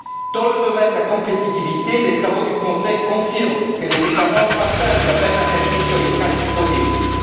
Dans le domaine de la compétitivité, les travaux du Conseil confirment que les États membres partagent la même analyse sur les principaux défis.